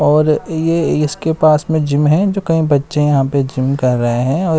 और ये इसके पास में जिम है जो कई बच्चे यहां पे जिम कर रहे हैं।